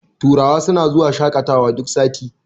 turawa suna zuwa shaƙatawa duk sati